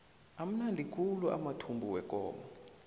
amnandi khulu amathumbu wekomo